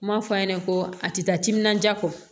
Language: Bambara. N m'a fɔ a ɲɛna ko a tɛ taa timinandiya kɔ